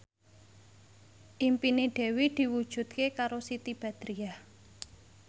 impine Dewi diwujudke karo Siti Badriah